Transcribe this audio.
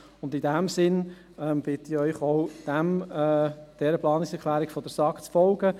In diesem Sinn bitte ich Sie, auch dieser Planungserklärung der SAK zu folgen.